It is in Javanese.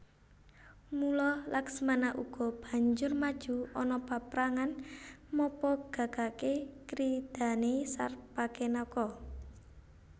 Mula Laksmana uga banjur maju ana paprangan mapagagaké kridhané Sarpakenaka